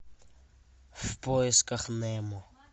в поисках немо